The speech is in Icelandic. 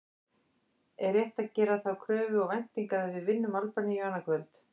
Er rétt að gera þá kröfu og væntingar að við vinnum Albaníu annað kvöld?